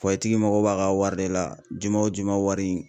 tigi mago b'a ka wari de la juma o juma wari in